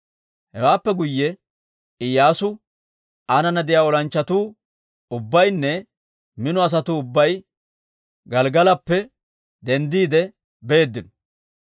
Hewaappe guyye Iyyaasu, aanana de'iyaa olanchchatuu ubbaynne mino asatuu ubbay Gelggalappe denddiide beeddino.